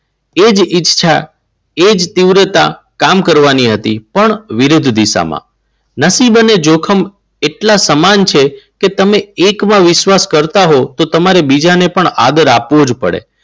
એજ ઈચ્છા એ જ તીવ્રતા કામ કરવાની હતી પણ વિરુદ્ધ દિશામાં. નસીબ અને જોખમ એટલા સમાન છે કે તમે એકવાર વિશ્વાસ કરતા હોવ તો તમને બીજાને પણ આદર આપવો જ પડે.